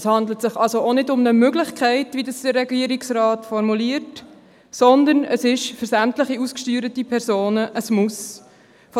Es handelt sich also auch nicht um eine «Möglichkeit», wie es der Regierungsrat formuliert, sondern es ist für sämtliche ausgesteuerten Personen «ein Muss».